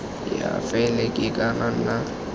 ya faele e ka nna